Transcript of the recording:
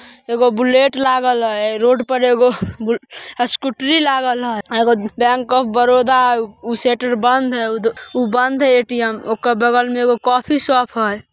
एगो बुलेट लागल है। रोड पर एगो स्कूटरी लागल छे। एगो बैंक ऑफ़ बरोदा ऊ शटर बंद है। ऊ बंद है ऐ.टी.एम. बगल में वो कॉफी शॉप हैं।